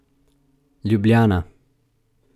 Ljubljana.